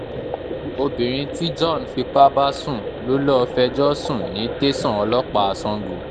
obìnrin tí john fipá bá sùn lọ lóò fẹjọ́ sùn ní tẹ̀sán ọlọ́pàá sango